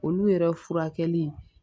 Olu yɛrɛ furakɛli